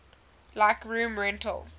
like room rental